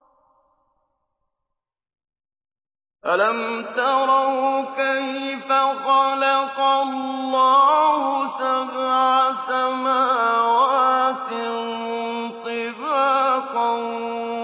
أَلَمْ تَرَوْا كَيْفَ خَلَقَ اللَّهُ سَبْعَ سَمَاوَاتٍ طِبَاقًا